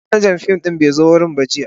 Manajan fim din bai zo wurin ba jiya.